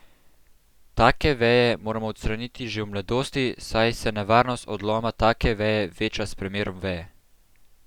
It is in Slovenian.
Take veje moramo odstraniti že v mladosti, saj se nevarnost odloma take veje veča s premerom veje.